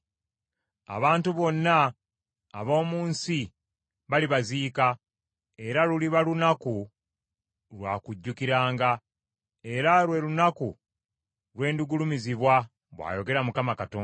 Abantu bonna ab’omu nsi balibaziika, era luliba lunaku lwa kujjukiranga era lwe lunaku lwe ndigulumizibwa, bw’ayogera Mukama Katonda.